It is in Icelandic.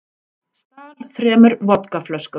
Stal þremur vodkaflöskum